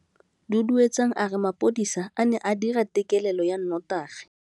Duduetsang a re mapodisa a ne a dira têkêlêlô ya nnotagi.